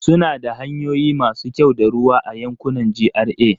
Suna da hanyoyi masu kyau da ruwa a yankunan GRA.